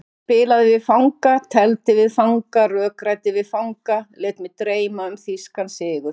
Spilaði við fanga, tefldi við fanga, rökræddi við fanga, lét mig dreyma um þýskan sigur.